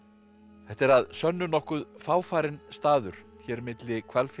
þetta er að sönnu nokkuð fáfarinn staður hér milli Hvalfjarðar